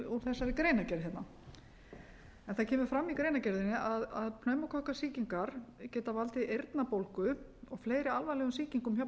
út þessari greinargerð hérna það kemur fram í greinargerðinni að pneumókokkasýkingar geta valdið eyrnabólgu og fleiri alvarlegum sýkingum hjá